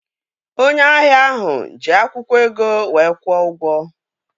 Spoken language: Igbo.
Onye ahịa ahụ ji akwụkwọ ego wee kwụọ ụgwọ